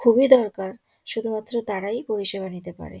খুব এই দরকার শুধু মাত্র তারাই পরিষেবা নিতে পারে।